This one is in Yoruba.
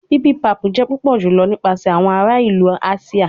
Bibimpap jẹ pupọ julọ nipasẹ awọn ara ilu Asia